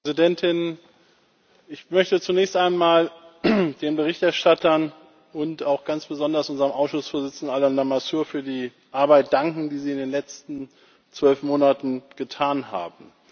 Frau Präsidentin! Ich möchte zunächst einmal den Berichterstattern und auch ganz besonders unserem Ausschussvorsitzenden, Alain Lamassoure, für die Arbeit danken, die sie in den letzten zwölf Monaten geleistet haben.